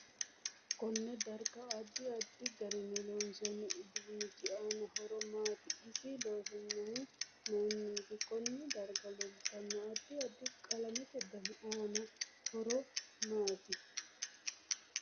Konne darga addi addi garinni loonsoni uduunichi aano horo maati isi loonsoonihu mayiiniti konne darga leeltanno adid addi qalamete dani aanno horo maati